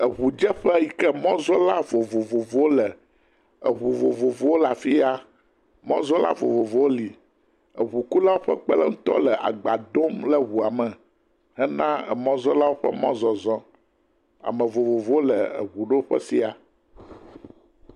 Eŋudzeƒe yi ka mɔzɔla vovovovowo le, eŋu vovovowo le afi ya mɔzɔla vovovovowo li, eŋukula ƒe kpeɖeŋutɔ le agba dom le ŋua me hena emɔzɔlawo ƒe mɔzɔzɔ, Ame vovovowo le eŋuɖoƒe sia.